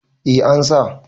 eh an sa